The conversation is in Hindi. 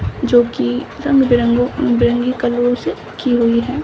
जो की रंग-बिरंगो बिरंगी कलरों से की गई है।